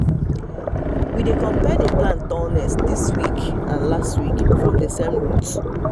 we dey compare the plant tallness this week and last week from the same route